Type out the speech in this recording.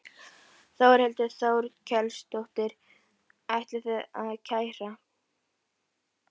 Þórhildur Þorkelsdóttir: Ætlið þið að kæra?